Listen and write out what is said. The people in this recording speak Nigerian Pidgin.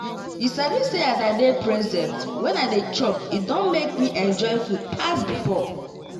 you sabi say as i dey present when i dey chop e don make me enjoy food pass before.